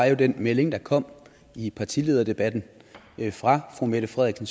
jo den melding der kom i partilederdebatten fra fru mette frederiksen